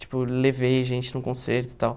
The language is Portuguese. Tipo, levei gente num concerto e tal.